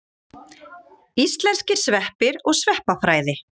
Íslenskir sveppir og sveppafræði.